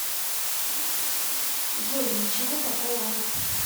джой ничего такого